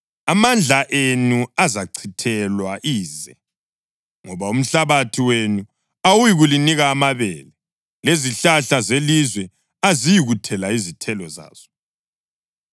Amandla enu azachithelwa ize, ngoba umhlabathi wenu awuyikulinika amabele, lezihlahla zelizwe aziyikuthela izithelo zazo.